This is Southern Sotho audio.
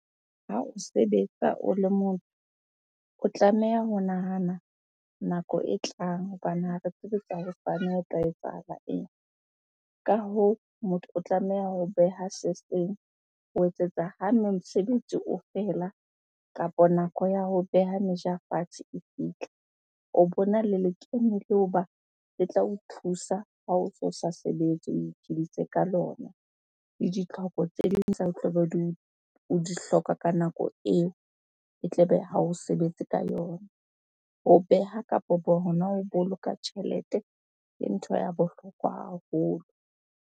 Ha o sebetsa o le motho, o tlameha ho nahana nako e tlang hobane ha re tsebe tsa hosane ho ka etsahala eng? Ka hoo, motho o tlameha ho beha se seng ho etsetsa ha mosebetsi o feela kapa nako ya ho beha meja fatshe e fihla, o bona le lekeno le le tla o thusa ha oso sa sebetse o iphidise ka lona. Le ditlhoko tse ding o tlabe o di hloka ka nako eo e tlabe ha o sebetse ka yona. Ho beha kapo bo hona ho boloka tjhelete ke ntho ya bohlokwa haholo.